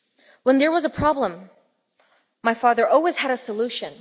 When there was a problem, my father always had a solution.